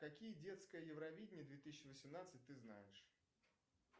какие детское евровидение две тысячи восемнадцать ты знаешь